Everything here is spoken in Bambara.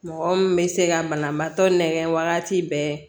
Mɔgɔ min bɛ se ka banabaatɔ nɛgɛn wagati bɛɛ